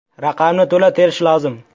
Raqamni to‘la terish lozim.